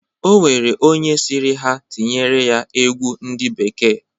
O nwere onye sịrị ha tinyere ya egwu ndị bekee.